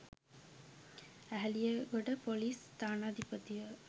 Eheliyagoda ‍police ස්ථානාධිපතිව